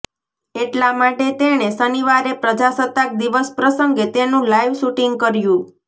એટલા માટે તેણે શનિવારે પ્રજાસત્તાક દિવસ પ્રસંગે તેનું લાઇવ શૂટિંગ કર્યું